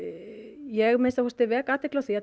ég vek athygli á því að